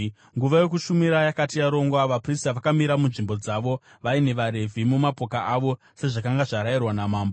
Nguva yokushumira yakati yarongwa, vaprista vakamira munzvimbo dzavo vaine vaRevhi mumapoka avo sezvakanga zvarayirwa namambo.